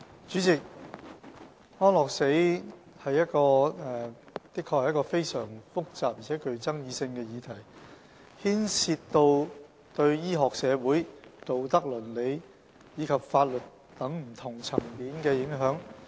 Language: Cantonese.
主席，安樂死的確是一個非常複雜而且具爭議性的議題，牽涉對醫學、社會、道德、倫理及法律等不同層面的影響。